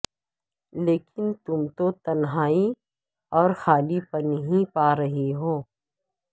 لیکن تم تو تنہائی اور خالی پن ہی پا رہی ہو